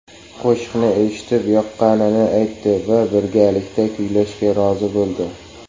Qo‘shiqni eshitib yoqqanini aytdi va birgalikda kuylashga rozi bo‘ldi.